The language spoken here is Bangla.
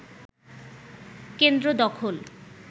কেন্দ্র দখল